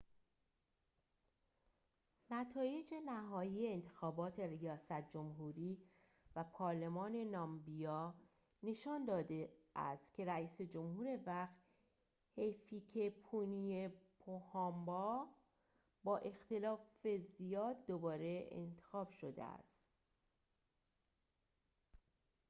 نتایج نهایی انتخابات ریاست جمهوری و پارلمان نامبیا نشان داده است که رئیس جمهور وقت هیفیکه‌پونیه پوهامبا با اختلاف زیاد دوباره انتخاب شده است